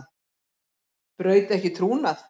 Braut ekki trúnað